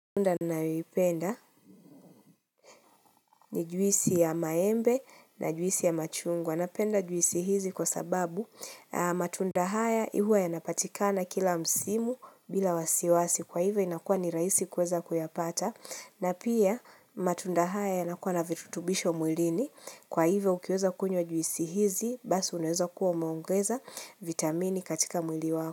Matunda ninayoipenda ni juisi ya maembe na juisi ya machungwa. Napenda juisi hizi kwa sababu matunda haya huwa yanapatikana kila msimu bila wasiwasi. Kwa hivyo inakuwa ni rahisi kuweza kuyapata. Na pia matunda haya yanakua na virutubisho mwilini. Kwa hivyo ukiweza kunywa juisi hizi basi unaweza kuwa umeongeza vitamini katika mwili wako.